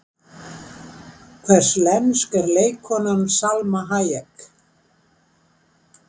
Hvers lensk er leikkonan Salma Hayek?